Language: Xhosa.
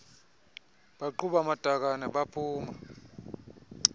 baqhuba amatakane baphuma